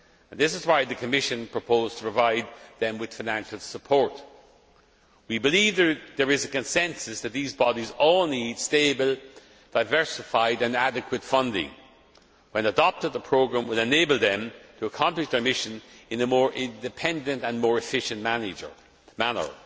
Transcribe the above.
This is why the Commission proposed to provide them with financial support. We believe there is a consensus that these bodies all need stable, diversified and adequate funding. When adopted, the programme will enable them to accomplish their mission in a more independent and more efficient manner.